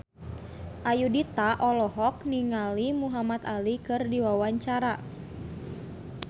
Ayudhita olohok ningali Muhamad Ali keur diwawancara